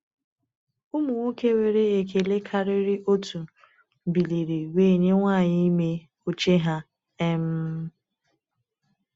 Ụmụ nwoke nwere ekele karịrị otu biliri wee nye nwanyị ime oche ha. um